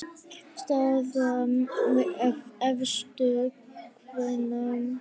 Staða efstu kvenna